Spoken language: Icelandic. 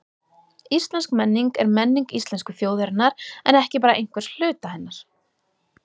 Íslensk menning er menning íslensku þjóðarinnar en ekki bara einhvers hluta hennar.